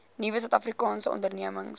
nuwe suidafrikaanse ondernemings